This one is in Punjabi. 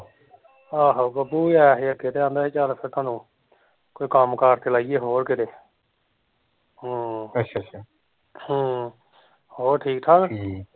ਆਹੋ ਬੱਬੂ ਵੀ ਆਇਆ ਹੀ ਓਥੇ ਤੇ ਆਂਹਦਾ ਹੀ ਚੱਲ ਫਿਰ ਤੂਹਾਨੂੰ ਕੋਈ ਕੰਮ ਕਾਰ ਲਾਈਏ ਹੋਰ ਕਿਤੇ ਹਮ ਹਮ, ਹੋਰ ਠੀਕ ਠਾਕ